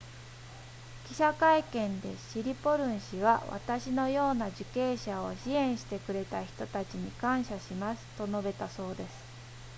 記者会見でシリポルン氏は私のような受刑者を支援してくれた人たちに感謝しますと述べたそうです